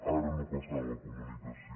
ara no passaran la comunicació